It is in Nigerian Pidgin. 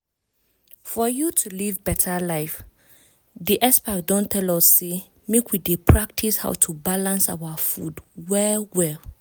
for you to live beta life di experts don tell us say make we dey practice how to balance our food well well.